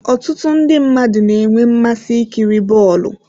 Ọtụtụ ndị mmadụ na-enwe mmasị ikiri bọọlụ.